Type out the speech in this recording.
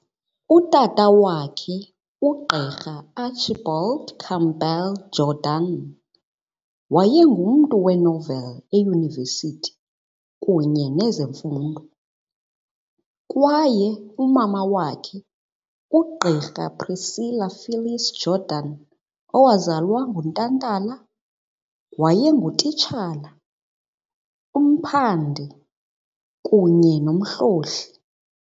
Utata wakhe, uGqr Archibald Campbell Jordan, wayengumntu wasenoveli, eyunivesithi kunye nezemfundo kwaye umama wakhe, uGqirha Priscilla Phyllis Jordan, wazalwa, uNtantala, wayengutitshala, umphandi kunye nomhlohli.